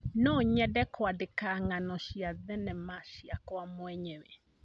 No nyende kũandĩka ng'ano cia thenema ciakwa mwenyewe.